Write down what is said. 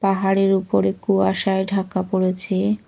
পাহাড়ের উপরে কুয়াশায় ঢাকা পড়েছে।